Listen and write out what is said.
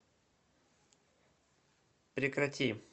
прекрати